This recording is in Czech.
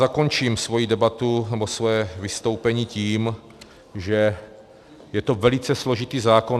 Zakončím svoji debatu, nebo svoje vystoupení tím, že je to velice složitý zákon.